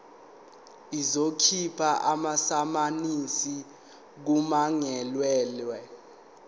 izokhipha amasamanisi kummangalelwa